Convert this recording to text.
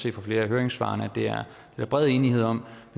i flere af høringssvarene at der er bred enighed om